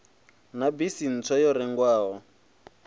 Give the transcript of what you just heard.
na bisi ntswa yo rengwaho